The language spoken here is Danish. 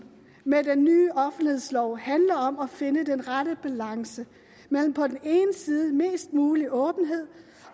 med den nye offentlighedslov handler om at finde den rette balance mellem på den ene side mest mulig åbenhed